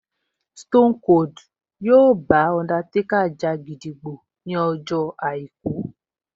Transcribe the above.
Stone Cold yóò bá Undertaker ja gídígbò ní ọjọ́ àìkú